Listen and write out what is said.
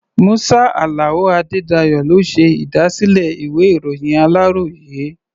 Musa Alao Adedayo ló ṣe ìdásílẹ̀ ìwé-ìròyìn aláròyé.